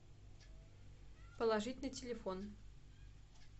положить на телефон